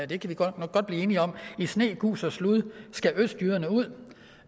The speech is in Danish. det kan vi godt blive enige om i sne gus og slud skal østjyderne ud